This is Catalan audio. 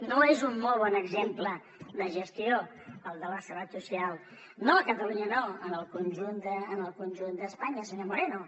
no és un molt bon exemple de gestió el de la seguretat social no a catalunya no en el conjunt d’espanya senyor moreno